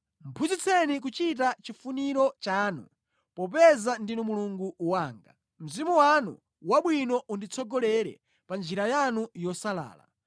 Phunzitseni kuchita chifuniro chanu, popeza ndinu Mulungu wanga; Mzimu wanu wabwino unditsogolere pa njira yanu yosalala.